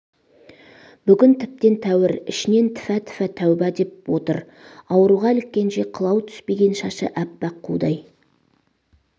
бүгін тіптен тәуір ішінен тфа тфа тәуба деп отыр ауруға іліккенше қылау түспеген шашы әппақ қудай